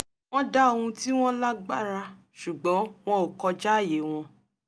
wọ́n dá ohun tí wọ́n lágbára sùgbọ́n wọn ò kọjáàyè wọn